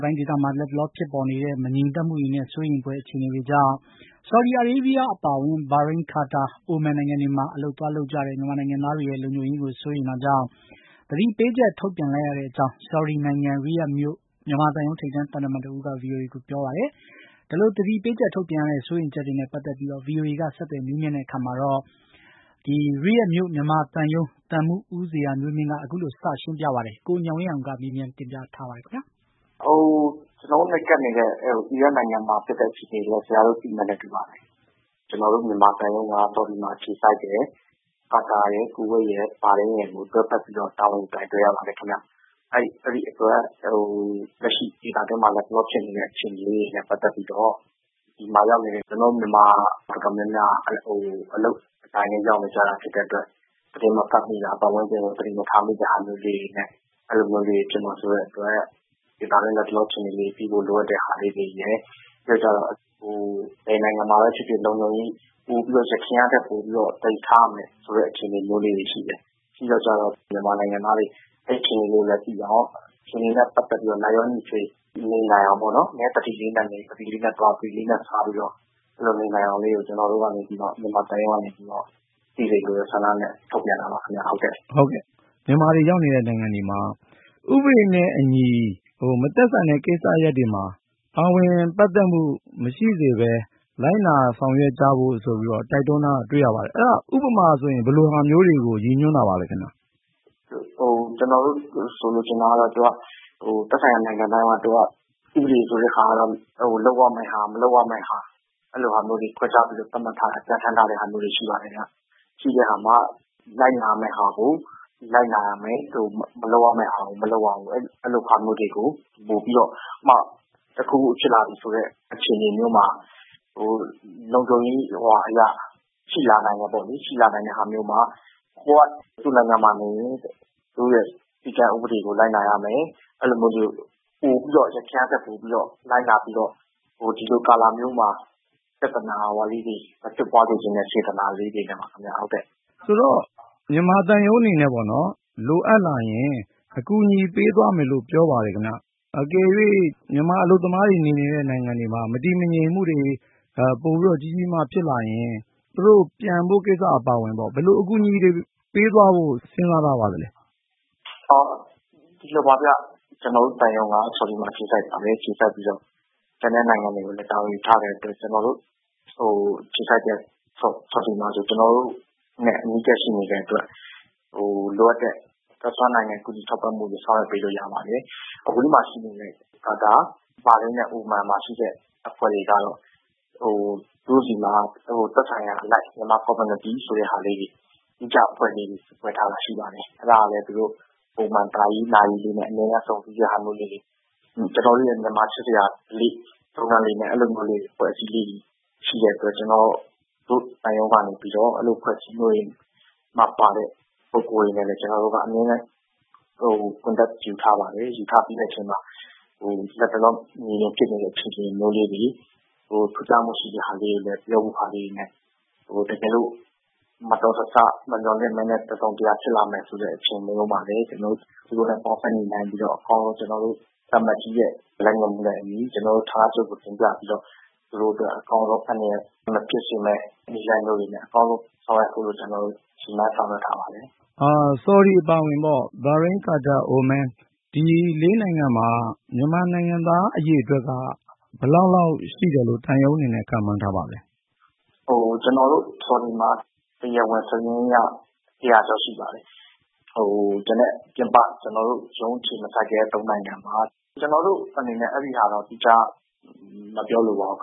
ပိုင်းဒေသမှာ လတ်တလော ဖြစ်ပေါ်နေတဲ့ မငြိမ်သက်မှုတွေနဲ့ စိုးရိမ်ဖွယ် အခြေအနေတွေကြောင့် ဆော်ဒီအာရေးဗျ အပါအဝင် ဘာရိန်း၊ ကာတာနဲ့ အိုမန်နိုင်ငံတွေမှာ အလုပ်သွားလုပ်နေကြတဲ့ မြန်မာနိုင်ငံသားတွေရဲ့ လုံခြုံရေးကို စိုးရိမ်တာကြောင့် သတိပေးချက် ထုတ်ပြန်ရတဲ့အကြောင်း ဆော်ဒီနိုင်ငံ ရီယာဒ်မြို့ မြန်မာသံရုံး ထိပ်တန်းသံတမန်တဦးက ဗွီအိုအေကို ပြောပါတယ်။ ဒီလို သတိပေးချက် ထုတ်ပြန်ရတဲ့ စိုးရိမ်ချက်တွေနဲ့ ပတ်သက်လို့ ဗွီအိုအေက ကိုဉာဏ်ဝင်းအောင် ဆက်သွယ်မေးမြန်းတဲ့အခါ ရီယာဒ်မြို့ မြန်မာသံရုံး သံမှူး ဦးဇေယျာမျိုးမြင့်က အခုလို စရှင်းပြပါတယ်။ သံမှူး ဦးဇေယျာမိုးမြင့် - “ကျနော်တို့နဲ့ ကပ်နေတဲ့ အီရတ်နိုင်ငံမှာ ဖြစ်တဲ့ အခြေအနေတွေ သိမယ်နဲ့တူပါတယ်။ ကျနော်တို့ မြန်မာသံရုံးက ဆော်ဒီမှာ အခြေစိုက်တယ်။ ကာတာရယ်၊ ကူဝိတ်ရယ်၊ ဘာရိန်းရယ်ကို တွဲဖက်ပြီး တာဝန်ယူ ကိုင်တွယ်ရပါတယ်။ အဲဒီအတွက် လက်ရှိ ဒေသတွင်းမှာ လတ်တလော ဖြစ်နေတဲ့ အခြေအနေလေးတွေနဲ့ ပတ်သက်ပြီးတော့ ဒီမှာရောက်နေတဲ့ မြန်မာ တော်တော်များများ အလုပ်အကိုင်နဲ့ ရောက်နေကြတာ ဖြစ်တဲ့အတွက် သတင်းမဖတ်မိတာ၊ ပတ်ဝန်းကျင်ကို သတိမထားမိတာမျိုးလေးတွေ ဖြစ်မှာစိုးတဲ့အတွက် ဒေသတွင်း လတ်တလော အခြေအနေလေးတွေ သိဖို့လိုအပ်တာလေးတွေနဲ့ ဘယ်နိုင်ငံမှာပဲဖြစ်ဖြစ် လုံခြုံရေး အရင်ကထက် ပိုပြီးတော့ သတိထားရမယ်ဆိုတဲ့ အခြေအနေမျိုးလေးတွေ ရှိတယ်။ ရှိတဲ့အတွက် မြန်မာနိုင်ငံသားတွေ အဲဒီအခြေအနေလေးတွေလည်း သိအောင်၊ အခြေအနေနဲ့ ပတ်သက်ပြီး လိုက်လျောညီထွေ နေနိုင်အောင် နည်းနည်း သတိလေးနဲ့နေ၊ သတိလေးနဲ့သွား သတိလေးနဲ့ထားပြီးတော့ နေနိုင်အောင် ကျနော်တို့ မြန်မာသံရုံးက နေပြီးတော့ သိစေလိုတဲ့ဆန္ဒနဲ့ ထုတ်ပြန်တာပါ။” ကိုဉာဏ်ဝင်းအောင် - မြန်မာတွေရောက်နေတဲ့ နိုင်ငံတွေမှာ ဥပဒေနဲ့အညီ မသက်ဆိုင်တဲ့ ကိစ္စရပ်တွေမှာ ပါဝင်ပတ်သက်မှု မရှိစေဘဲ လိုက်နာဆောင်ရွက်ကြဖို့ဆိုပြီး တိုက်တွန်းထားတာ တွေ့ရပါတယ်။ ဥပမာဆိုရင် ဘယ်လိုဟာမျုးိကို ရည်ညွှန်းတာပါလဲ။ သံမှူး ဦးဇေယျာမိုးမြင့် - “ကျနော်တို့ ဆိုလိုချင်တာကတော့ သက်ဆိုင်ရာ နိုင်ငံသားတွေအတွက် ဥပဒေဆိုတာ လုပ်ရမယ့်ဟာ မလုပ်ရမယ့်ဟာ အဲဒီလို ခွဲခြားပြီး သတ်မှတ်ပြဋ္ဌာန်းထားတာမျိုးတွေ ရှိပါတယ်။ ရှိတဲ့ဟာမှာ လိုက်နာရမယ့်ဟာကို လိုက်နာရမယ်၊ မလုပ်ရမယ့်ဟာကို မလုပ်ရဘူး။ အဲလိုဟာမျိုးတွေကို ပိုပြီးတော့ တခုခုဖြစ်လာပြီဆိုတဲ့ အခြေအနေမျိုးမှာ လုံခြုံရေးအရ ရှိလာနိုင်တယ်။ ရှိလာနိုင်တဲ့ဟာမျိုးမှာ ကိုယ်က ဟိုနိုင်ငံမှာနေရင် သူတို့ရဲ့ စည်းကမ်းဥပဒေကို လိုက်နာရမယ်။ အဲလိုမျိုးလေးတွေကို အရင်ကထက်ပိုပြီး လိုက်နာပြီးတော့ ဒီလိုကာလမျိုးမှာ ပြဿနာ မဖြစ်ပွားစေချင်တဲ့ စေတနာနဲ့ပါ။” ကိုဉာဏ်ဝင်းအောင် - မြန်မာသံရုံးအနေနဲ့ လိုအပ်လာရင် အကူအညီ ပေးသွားမယ်လို့ ပြောပါတယ်။ အကယ်၍ မြန်မာအလုပ်သမားတွေ နေနေတဲ့ နိုင်ငံတွေမှာ မတည်ငြိမ်မှုတွေ ပိုပြီးတော့ ကြီးကြီးမားမား ဖြစ်လာရင် သူတို့ ပြန်ဖို့ကိစ္စ အပါအဝင် ဘယ်လိုအကူအညီတွေ ပေးသွားဖို့ စဉ်းစားထားပါသလဲ။ သံမှူး ဦးဇေယျာမိုးမြင့် - “ကျနော်တို့သံရုံးက ဆော်ဒီမှာ အခြေစိုက်ပါတယ်။ အခြေစိုက်ပြီးတော့ ကျန်တဲ့နိုင်ငံတွေကိုလည်း တာဝန်ယူထားတဲ့အတွက် ကျနော်တို့အခြေစိုက်တဲ့ ဆော်ဒီမှာဆို ကျနော်တို့နဲ့ အနီးကပ် ရှိနေတဲ့အတွက် လိုအပ်တဲ့ ကူညီထောက်ပံ့မှုတွေ ဆောင်ရွက်ပေးလို့ ရပါတယ်။ အဝေးမှာ ကာတာ၊ ဘာရိန်းနဲ့ အိုမန်မှာရှိတဲ့ အဖွဲ့တွေကတော့ သူတို့ဆီမှာ သက်ဆိုင်ရာ Myanmar Community ဆိုတဲ့ဟာလေးတွေ သီးခြားဖွဲ့ထားတာ ရှိပါတယ်။ သူတို့ ပုံမှန် သာရေး နာရေးနဲ့ အမြဲတမ်း ဆုံစည်းတဲ့ဟာမျိုးလေးတွေ၊ ကျနော်တို့ရဲ့ မြန်မာ့ ချစ်စရာဓလေ့ အဲဒီလိုမျိုး အဖွဲ့အစည်းလေးတွေ ရှိတဲ့အတွက် ကျနော်တို့သံရုံးကနေ အဲဒီလိုအဖွဲ့အစည်းမျိုးမှာပါတဲ့ ပုဂ္ဂိုလ်တွေနဲ့လည်း အမြဲတမ်း Contact ယူထားပါတယ်။ လတ်တလော ဖြစ်နေတဲ့ အခြေအနေမျိုးလေးတွေ ထူးခြားမှုရှိတဲ့ဟာလေးတွေ ပြောဖို့နဲ့ တကယ်လို့ မတော်တဆ နိုင်ငံတွင်းမှာ တစုံတရာ ဖြစ်လာမယ့် အခြေအနေမျိုးမှာ သူတို့နဲ့ ပေါင်းစပ်ညှိနှိုင်းပြီးတော့ သံအမတ်ကြီးရဲ့ လမ်းညွှန်မှုနဲ့အညီ ဌာနချုပ်ကို တင်ပြပြီးတော့ သူတို့ အန္တရာယ်မဖြစ်စေမယ့် နည်းလမ်းမျိုးတွေနဲ့ အကောင်းဆုံး ဆောင်ရွက်ဖို့ ရည်မှန်း ဆောင်ရွက်ထားပါတယ်။” ကိုဉာဏ်ဝင်းအောင် - ဆော်ဒီ အပါအဝင် ဘာရိန်း၊ ကာတာ၊ အိုမန် ဒီလေးနိုင်ငံမှာ မြန်မာနိုင်ငံသား အရေအတွက်က ဘယ်လောက်ရှိတယ်လို့ သံရုံးအနေနဲ့ ခန့်မှန်းထားပါသလဲ။ သံမှူး ဦးဇေယျာမိုးမြင့် - “ကျနော်တို့ ဆော်ဒီမှာ တရားဝင်စာရင်းအရ ၁၀၀ ကျော်ရှိပါတယ်။ ကျန်တဲ့ပြင်ပ ကျနော်တို့ ရုံးအခြေမစိုက်တဲ့ သုံးနိုင်ငံမှာ ကျနော်တို့အနေနဲ့ အဲဒါတော့ သီးခြားမပြောလိုပါဘ